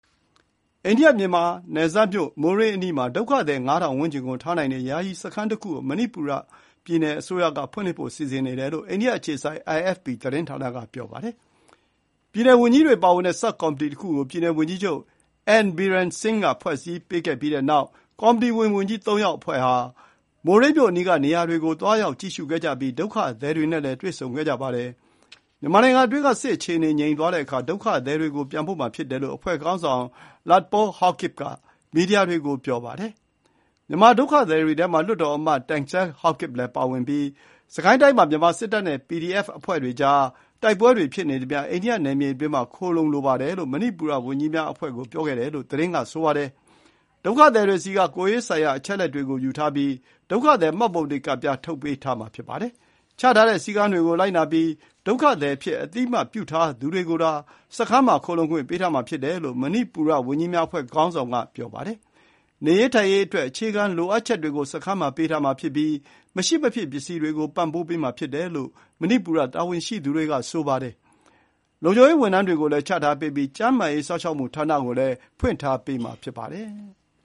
အိန္ဒိယ-မြန်မာနယ်စပ်မြို့ မိုးရေးအနီးမှာ ဒုက္ခသည် ၅,၀၀၀ ဝန်းကျင်ကို ထားနိုင်တဲ့ ယာယီစခန်းတခုကို မဏိပူရပြည်နယ်အစိုးရကဖွင့်လှစ်ဖို့ စီစဉ်နေတယ်လို့ အိန္ဒိယအခြေစိုက် IFP သတင်းဌာနက ဆိုပါတယ်။ ပြည်နယ်ဝန်ကြီးတွေပါဝင်တဲ့ ဆပ်ကော်မီတီတခုကို ပြည်နယ်ဝန်ကြီးချုပ် N Biren Singh က ဖွဲ့စည်းပေးပြီးတဲ့နောက် ကော်မီတီဝင် ဝန်ကြီး သုံးယောက်အဖွဲ့ဟာ မိုးရေးမြို့အနီးကနေရာတွေကို သွားရောက်ကြည့်ရှုကြပြီး ဒုက္ခသည်တွေနဲ့လည်း တွေ့ဆုံခဲ့ကြပါတယ်။ မြန်မာနိုင်ငံအတွင်းက စစ်အခြေအနေငြိမ်သွားတဲ့အခါ ဒုက္ခသည်တွေကို ပြန်ပို့မှာ ဖြစ်တယ်လို့ အဖွဲ့ခေါင်းဆောင် Letpao Haokip က မီဒီယာတွေကို ပြောပါတယ်။ မြန်မာဒုက္ခသည်တွေထဲမှာ မြန်မာလွှတ်တော်အမတ် Thangsel Haokip လည်းပါဝင်ပြီး စစ်ကိုင်းတိုင်းမှာ မြန်မာစစ်တပ်နဲ့ ပီဒီအက်ဖ် တပ်ဖွဲ့တွေကြား တိုက်ပွဲတွေဖြစ်နေသမျှ အိန္ဒိယနယ်မြေအတွင်းမှာ ခိုလှုံလိုပါတယ်လို့ မဏိပူရဝန်ကြီးများအဖွဲ့ကိုပြောခဲ့တယ်လို့ သတင်းက ဆိုပါတယ်။ ဒုက္ခသည်တွေဆီက ကိုယ်ရေးဆိုင်ရာအချက်အလက်တွေ ကိုယူထားပြီး ဒုက္ခသည်မှတ်ပုံတင်ကဒ်ပြား ထုတ်ပေးထားမှာ ဖြစ်ပါတယ်။ ချထားတဲ့စည်းကမ်းတွေကိုလိုက်နာပြီး ဒုက္ခသည်အဖြစ် အသိအမှတ်ပြုထားသူတွေကိုသာ စခန်းမှာ ခိုလှုံခွင့်ပေးထားမှာဖြစ်တယ်လို့ မဏိပူရ ဝန်ကြီးများအဖွဲ့ခေါင်းဆောင်ကပြောပါတယ်။ နေရေးထိုင်ရေးအတွက် အခြေခံလိုအပ်ချက်တွေ စခန်းမှာပေးထားမှာဖြစ်ပြီး မရှိမဖြစ် ပစ္စည်းတွေကို ပံ့ပိုးပေးမှာဖြစ်တယ်လို့ မဏိပူရတာဝန်ရှိသူတွေက ဆိုပါတယ်။ လုံခြုံရေးဝန်ထမ်းတွေတွေကိုလည်း ချထားပေးပြီး ကျန်းမာရေး စောင့်ရှောက်မှုဌာနကိုလည်း ဖွင့်လှစ်ပေးထားမှာဖြစ်ပါတယ်။